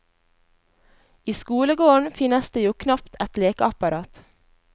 I skolegården finnes det jo knapt et lekeapparat.